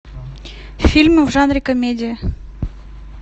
фильмы в жанре комедия